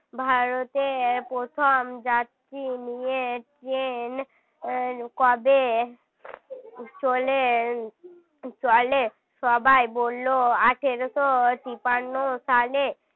ভারতে এই প্রথম যাচ্ছি নিয়ে ট্রেন কবে চলে চলে সবাই বলল আঠারোশো তিপান্ন সালে